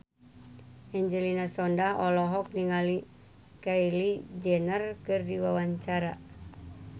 Angelina Sondakh olohok ningali Kylie Jenner keur diwawancara